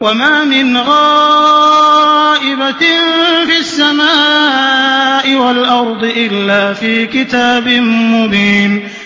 وَمَا مِنْ غَائِبَةٍ فِي السَّمَاءِ وَالْأَرْضِ إِلَّا فِي كِتَابٍ مُّبِينٍ